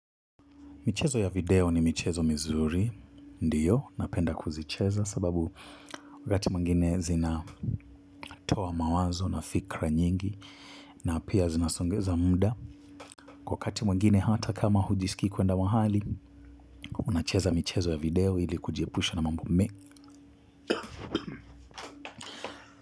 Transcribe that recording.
Michezo ya video ni michezo mizuri, ndiyo, napenda kuzicheza sababu wakati mwingine zina toa mawazo na fikra nyingi na pia zinasongeza muda. Kwa wakati mwingine hata kama hujisikii kuenda wahali, unacheza michezo ya video ili kujiepusha na mambo me.